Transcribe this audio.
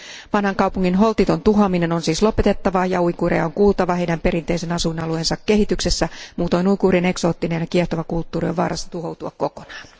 Vanhan kaupungin holtiton tuhoaminen on siis lopetettava ja uiguureja on kuultava heidän perinteisen asuinalueensa kehityksessä. Muutoin uiguurien eksoottinen ja kiehtova kulttuuri on vaarassa tuhoutua kokonaan.